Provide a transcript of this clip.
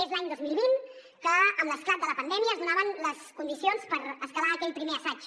és l’any dos mil vint que amb l’esclat de la pandèmia es donaven les condicions per escalar aquell primer assaig